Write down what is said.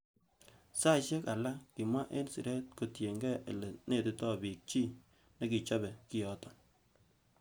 Saisiek alak kimwa en siret kotienge ele netito bik chi nekichobe kioton.